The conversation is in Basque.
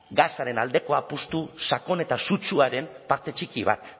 gasaren aldeko apustu sakon eta sutsuaren parte txiki bat